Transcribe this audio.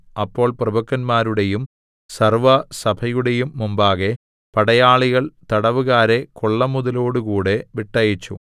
അപ്പോൾ പ്രഭുക്കന്മാരുടെയും സർവ്വസഭയുടെയും മുമ്പാകെ പടയാളികൾ തടവുകാരെ കൊള്ളമുതലോടുകൂടെ വിട്ടയച്ചു